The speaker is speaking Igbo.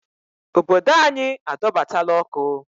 Obodo anyị adọbatala ọkụ